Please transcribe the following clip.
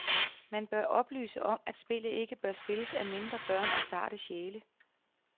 Man bør oplyse om, at spillet ikke bør spilles af mindre børn og sarte sjæle.